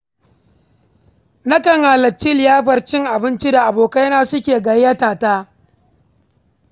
Nakan halarci liyafar cin abincin da abokaina suke gayyata ta.